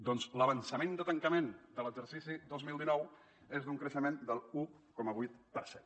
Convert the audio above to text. doncs l’avançament de tancament de l’exercici dos mil dinou és d’un creixement de l’un coma vuit per cent